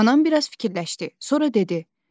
Anam biraz fikirləşdi, sonra dedi: